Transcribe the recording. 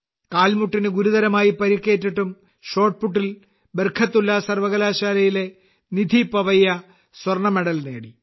കാൽമുട്ടിന് ഗുരുതരമായി പരിക്കേറ്റിട്ടും ഷോട്ട്പുട്ടിൽ ബർകത്തുല്ല സർവകലാശാലയിലെ നിധി പവയ്യ സ്വർണമെഡൽ നേടി